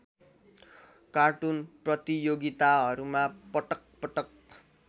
cartoon प्रतियोगिताहरूमा पटकपटक